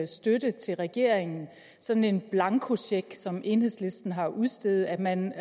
støtte til regeringen sådan en blankocheck som enhedslisten har udstedt man